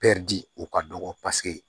di o ka dɔgɔ paseke